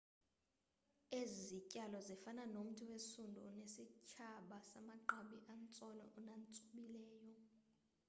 ezi zityalo zifana nomthi wesundu onesitshaba samagqabi atsolo natsobhileyo